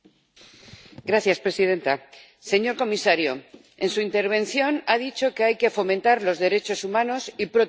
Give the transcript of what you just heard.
Señora presidenta, señor comisario, en su intervención ha dicho que hay que fomentar los derechos humanos y protegerlos.